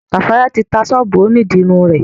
Kafaya ti tá sọ́ọ̀bù òní dirun rẹ.